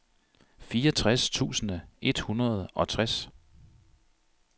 fireogtres tusind et hundrede og tres